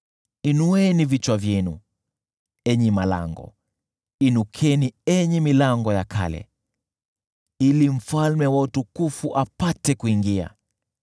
Inueni vichwa vyenu, enyi malango, inukeni enyi milango ya kale, ili mfalme wa utukufu apate kuingia.